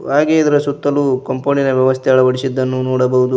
ವಗೆ ಇದರ ಸುತ್ತಲು ಕಾಂಪೌಂಡ್ ಇನ ವ್ಯವಸ್ಥೆ ಅಳವಡಿಸಿದ್ದನ್ನು ನೋಡಬಹುದು.